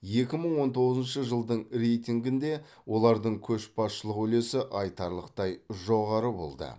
екі мың он тоғызыншы жылдың рейтингінде олардың көшбасшылық үлесі айтарлықтай жоғары болды